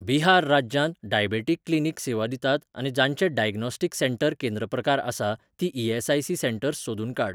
बिहार राज्यांत diabetic clinic सेवा दितात आनी जांचें डायग्नोस्टिक सेंटर केंद्र प्रकार आसा तीं ई.एस.आय.सी. सेंटर्स सोदून काड.